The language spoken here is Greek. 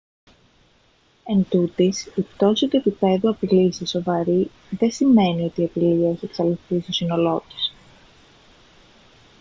εντούτοις η πτώση του επιπέδου απειλής σε σοβαρή δεν σημαίνει ότι η απειλή έχει εξαλειφθεί στο σύνολό της»